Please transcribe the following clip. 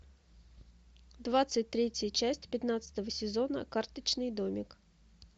двадцать третья часть пятнадцатого сезона карточный домик